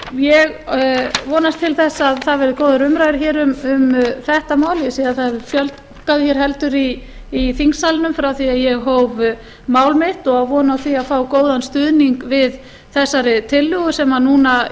ég vonast til þess að það verði góðar umræður hér um þetta mál ég sé að það hefur fjölgað hér heldur í þingsalnum frá því að ég hóf mál mitt og á von á því að fá góðan stuðning við þessa tillögum sem núna